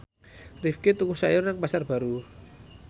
Rifqi tuku sayur nang Pasar Baru